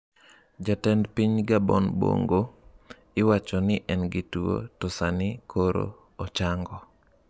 Jatend piny Gabon Bongo: iwacho ni en gi tuo, to sani koro ochango